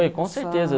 com certeza.